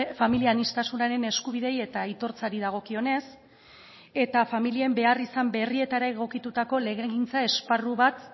familia aniztasunaren eskubideei eta aitortzari dagokionez eta familien beharrizan berrietara egokitutako legegintza esparru bat